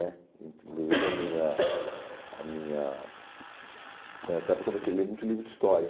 né, inclusive a minha, a minha, nessa época eu comecei a ler muito livro de história.